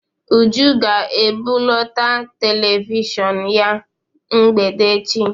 Uju ga-ebuleta televishọn ya na mgbede echi.